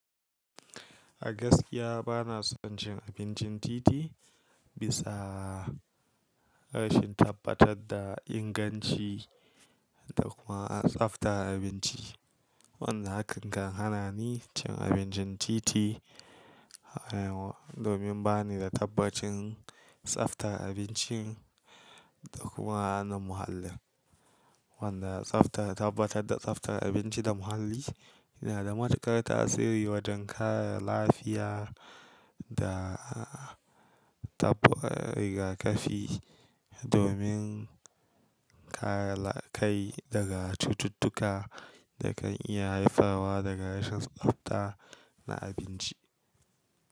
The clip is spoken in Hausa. A gaskiya bana son cin abincin titi bisa rashin tabbatar da inganci da kuma tsafta abinci. Wanda hakan kan hana ni cin abincin titi domin bani da tabbacin tsafta abincin da kuma na muhallin. Wanda tsaftar tabbatar da tsaftar abinci da muhalli yana da matukar tasiri wajen kare lafiya da tafi rigakafi domin kare kai daga cututtuka da kan iya haifarwa daga rashin tsafta na abinci.